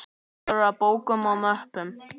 Fullar af bókum og möppum.